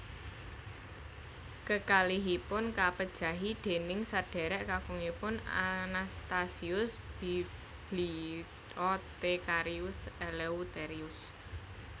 Kekalihipun kapejahi déning sedhérék kakungipun Anastasius Bibliothecarius Eleutherius